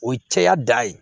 O ye cɛya da ye